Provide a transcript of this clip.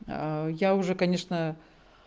я уже конечно